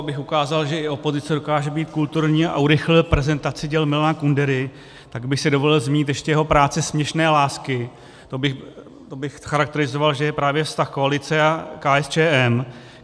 Abych ukázal, že i opozice dokáže být kulturní, a urychlil prezentaci děl Milana Kundery, tak bych si dovolil zmínit ještě práci Směšné lásky - to bych charakterizoval, že je právě vztah koalice a KSČM.